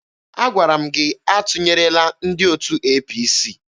Agwara m gị atụnyerela ndị otu APC!